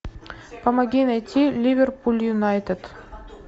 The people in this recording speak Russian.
помоги найти ливерпуль юнайтед